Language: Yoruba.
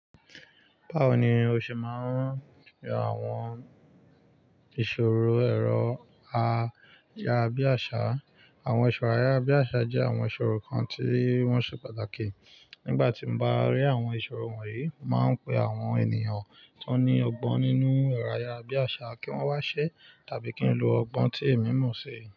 Báwo ni o ṣe máa ń pe àwọn ìṣòro ẹ̀rọ ayárabíàṣá? Àwọn ìṣòro ayárabíàṣá jẹ́ àwọn ìṣòro kan tí wọ́n ṣe pàtàkì. Nígbà tí n bá rí àwọn ìṣòro wọ̀nyí, màá pe àwọn ènìyàn tó ní ọgbọ́n nínú ẹ̀rọ ayárabíàṣá kí wọ́n wá ṣẹ́ tàbí kí n lo ọgbọ́n tí èmi mọ̀ ṣe.